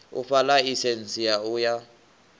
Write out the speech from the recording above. u fha ḽaisentsi u ya